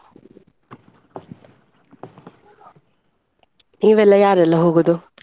ನೀವೆಲ್ಲ ಯಾರೆಲ್ಲ ಹೋಗುದು?